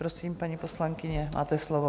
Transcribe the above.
Prosím, paní poslankyně, máte slovo.